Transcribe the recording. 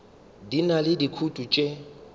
di na le dikutu tše